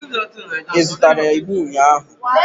Ị zụtara igbo ụnyahụ?